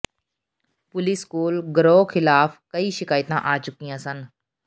police ਕੋਲ ਗਰੋਹ ਖ਼ਿਲਾਫ਼ ਕਈ ਸ਼ਿਕਾਇਤਾਂ ਆ ਚੁੱਕੀਆਂ ਸਨ